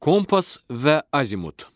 Kompas və Azimut.